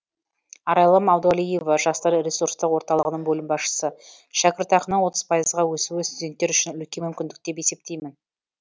арайлым абдуалиева жастар ресурстық орталығының бөлім басшысы шәкіртақаның отыз пайызға өсуі студенттер үшін үлкен мүмкіндік деп есептеймін